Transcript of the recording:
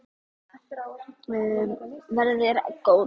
Verði þér að góðu.